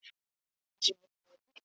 Bara það sem ég sagði.